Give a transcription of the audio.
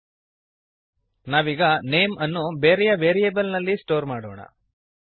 ನಾವೀಗ ನೇಮ್ ನೇಮ್ಅನ್ನು ಬೇರೆಯ ವೇರಿಯೇಬಲ್ ನಲ್ಲಿ ಸ್ಟೋರ್ ಮಾಡೋಣ